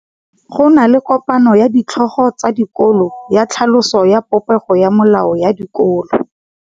Go na le kopanô ya ditlhogo tsa dikolo ya tlhaloso ya popêgô ya melao ya dikolo.